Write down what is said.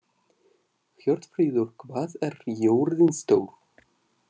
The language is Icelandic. Hjörtfríður, hvað er jörðin stór?